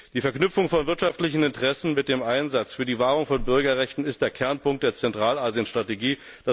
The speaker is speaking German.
Die Verknüpfung von wirtschaftlichen Interessen mit dem Einsatz für die Wahrung von Bürgerrechten ist der Kernpunkt der Zentralasien Strategie.